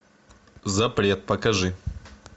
запрет покажи